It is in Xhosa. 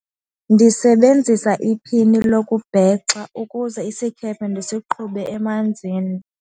Ndisebenzisa iphini lokubhexa ukuze isikhephe ndisiqhube emanzini.